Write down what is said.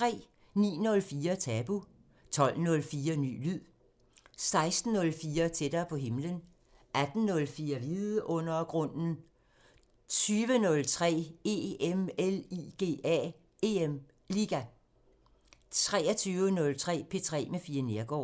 09:04: Tabu 12:04: Ny lyd 16:04: Tættere på himlen 18:04: Vidundergrunden 20:03: EM LIGA 23:03: P3 med Fie Neergaard